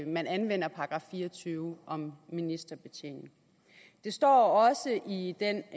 man anvender § fire og tyve om ministerbetjening det står også i den